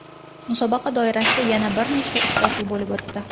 Musobaqa doirasida yana bir nechta uchrashuv bo‘lib o‘tdi.